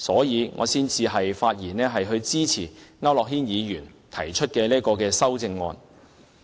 因此，我發言支持區諾軒議員提出的這項修正案。